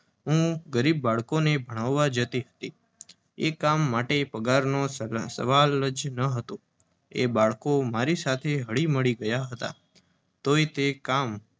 હું ગરીબ બાળકોને ભણાવા જતી હતી. એ કામ માટે પગારનો તો કોઈ સવાલ જ નહોતોએ બાળકો મારી સાથે હળીમળી ગયાં હતાં. તોય તે કામ